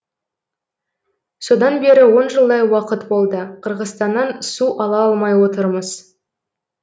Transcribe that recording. содан бері он жылдай уақыт болды қырғызстаннан су ала алмай отырмыз